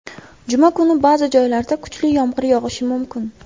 Juma kuni ba’zi joylarda kuchli yomg‘ir yog‘ishi mumkin.